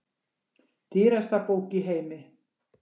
Dýrasta bók í heimi